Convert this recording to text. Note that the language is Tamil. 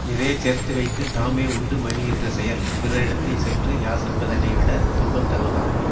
நிறைய சேர்த்து வைத்து தாமே உண்டு மகிழ்கின்ற செயல் பிறரிடத்தில் சென்று யாசிப்பதனைவிடத் துன்பம் தருவதாகும்